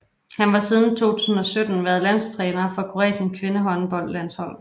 Han har siden 2017 været landstræner for Kroatiens kvindehåndboldlandshold